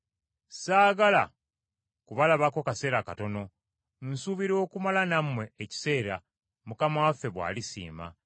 Saagala kubalabako kaseera katono, nsuubira okumala nammwe ekiseera, Mukama waffe bw’alisiima.